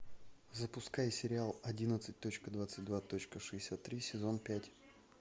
запускай сериал одиннадцать точка двадцать два точка шестьдесят три сезон пять